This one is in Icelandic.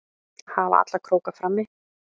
Að hafa alla króka frammi